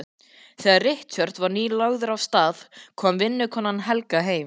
Þegar Richard var nýlagður af stað kom vinnukonan Helga heim.